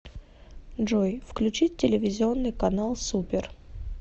джой включить телевизионный канал супер